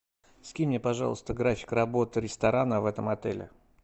скинь мне пожалуйста график работы ресторана в этом отеле